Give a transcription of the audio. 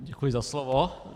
Děkuji za slovo.